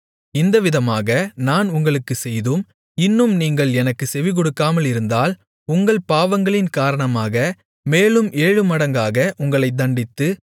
இந்தவிதமாக நான் உங்களுக்குச் செய்தும் இன்னும் நீங்கள் எனக்குச் செவிகொடுக்காமலிருந்தால் உங்கள் பாவங்களின் காரணமாக மேலும் ஏழுமடங்காக உங்களைத் தண்டித்து